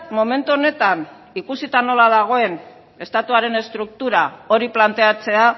momentu honetan ikusita nola dagoen estatuaren estruktura hori planteatzea